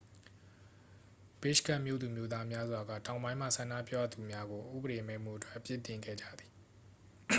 ဘစ်ရှ်ကက်မြို့သူမြို့သားများစွာက တောင်ပိုင်းမှ ဆန္ဒပြသူများကို ဥပဒေမဲ့မှုအတွက် အပြစ်တင်ခဲ့ကြသည်